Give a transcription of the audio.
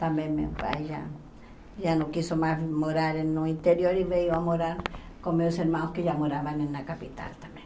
Também meu pai já já não quis mais morar no interior e veio a morar com meus irmãos que já moravam na capital também.